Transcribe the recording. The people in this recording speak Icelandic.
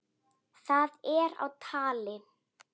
Það er á tali.